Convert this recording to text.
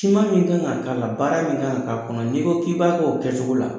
Siman min kan ka k'a la baara min kan ka k'a kɔnɔ n'i ko k'i b'a kɛ o kɛcogo la